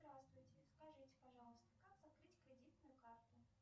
здравствуйте скажите пожалуйста как закрыть кредитную карту